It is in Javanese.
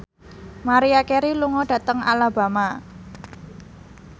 Maria Carey lunga dhateng Alabama